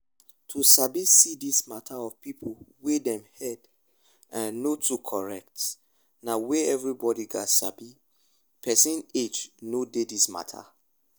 to sabi see this mata of people wey dem head um no too correct na weyth everybody gats sabi person age no dey this mata